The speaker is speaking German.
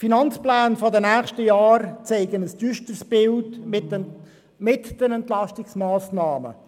Die Finanzpläne der nächsten Jahre zeichnen ein düsteres Bild, auch mit den Entlastungsmassnahmen.